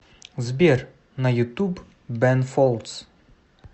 сбер на ютуб бэн фолдс